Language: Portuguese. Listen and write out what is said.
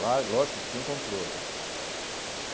Claro, lógico, com controle.